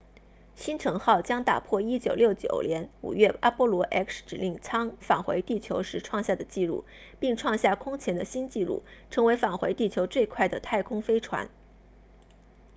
星尘号将打破1969年5月阿波罗 x 指令舱返回地球时创下的纪录并创下空前的新纪录成为返回地球最快的太空飞船